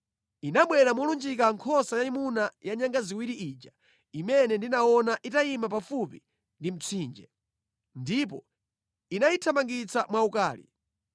Inabwera molunjika nkhosa yayimuna ya nyanga ziwiri ija imene ndinaona itayima pafupi ndi mtsinje. Ndipo inayithamangira mwaukali.